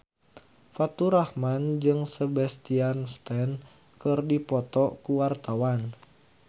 Faturrahman jeung Sebastian Stan keur dipoto ku wartawan